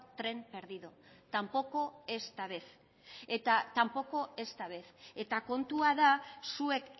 tren perdido tampoco esta vez eta tampoco esta vez eta kontua da zuek